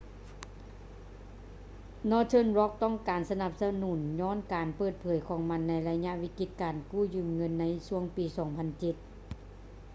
northern rock ຕ້ອງການການສະໜັບສະໜູນຍ້ອນການເປີດເຜີຍຂອງມັນໃນໄລຍະວິກິດການເງິນກູ້ຢືມໃນຊ່ວງປີ 2007